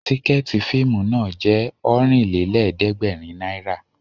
Tìkẹ̀ẹ̀tí fíìmù náà jẹ́ Ọ̀rìnlélẹ̀ẹ̀dẹ́gbèrin náírà